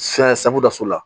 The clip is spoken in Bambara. safu daso la